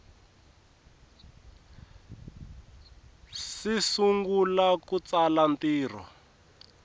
si sungula ku tsala ntirho